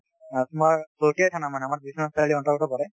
তোমাৰ আমাৰ বিশ্বনাথ থানৰ অন্তৰ্গত পৰে